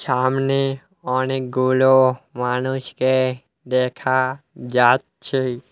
ছামনে অনেকগুলো মানুষকে দেখা যাচ্ছে।